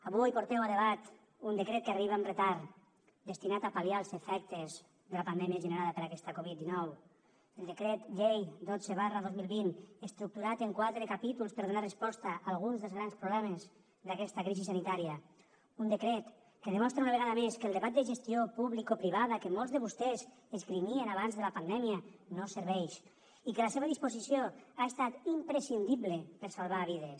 avui porteu a debat un decret que arriba amb retard destinat a pal·liar els efectes de la pandèmia generada per aquesta covid dinou el decret llei dotze dos mil vint estructurat en quatre capítols per donar resposta a alguns dels grans problemes d’aquesta crisi sanitària un decret que demostra una vegada més que el debat de gestió publicoprivada que molts de vostès esgrimien abans de la pandèmia no serveix i que la seva disposició ha estat imprescindible per a salvar vides